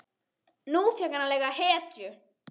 Nú fékk hann að leika hetju.